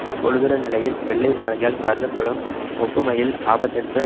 இப்பொழுதுள்ள நிலையில் வெள்ளை மாளிகையால் கருதப்படும் ஒப்புமையில் ஆபத்தற்ற